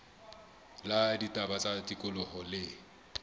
la ditaba tsa tikoloho le